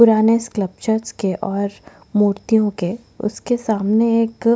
पुराने स्कल्प्टचर्स के और मूर्तियो के उसके सामने एक --